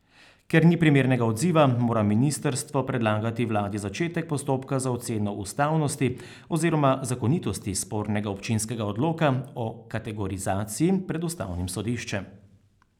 Ker ni primernega odziva mora ministrstvo predlagati vladi začetek postopka za oceno ustavnosti oziroma zakonitosti spornega občinskega odloka o kategorizaciji pred ustavnim sodiščem.